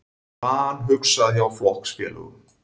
Vanhugsað hjá flokksfélögum